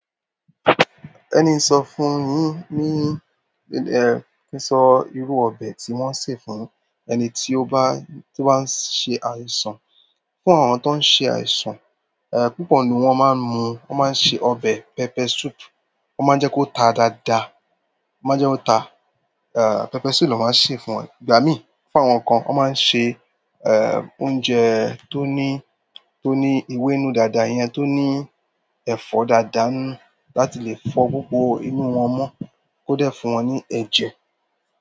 Ẹni ń sọ fún yín, níní, eh, kí sọ irú ọbẹ̀ tí wọ́n ń ṣe fún ẹni tí ó bá, tí ó bá ń ṣe àìsàn. Fún àwọn tó ń ṣe àìsàn, eh, púpọ̀ nnu wọ́n máa ń mu, wọ́n máa ń se ọbẹ̀ pepper soup, wọ́n máa ń jẹ́ kó ta dáadáa, wọ́n máa jẹ́ kó ta. Eh, pepper soup ni wọ́n máa ń se fún wọn. Gba mi, fún àwọn kan, wọ́n máa ń ṣe, eh, oúnjẹ tó ní, tó ní ewe nínú dáadáa, iyan tó ní ẹ̀fọ́ dáadáa ńinu láti le fọ́ gbogbo inú wọn mọ́, kó dẹ́ fún wọn ní ẹ̀jẹ̀.